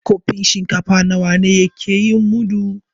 Kofin shinkafa nawa ne ke yin mudu?